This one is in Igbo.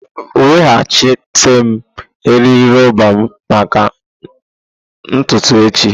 Weghachite eriri roba m maka ntutu echi!